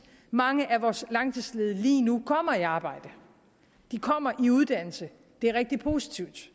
mange af vores langtidsledige lige nu kommer i arbejde de kommer i uddannelse det er rigtig positivt